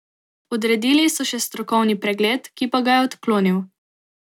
Odredili so še strokovni pregled, ki pa ga je odklonil.